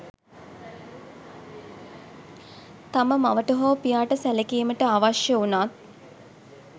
තම මවට හෝ පියාට සැලකීමට අවශ්‍ය වුණත්